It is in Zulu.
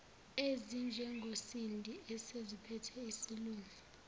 ezinjengosindi eseziziphethe isilungu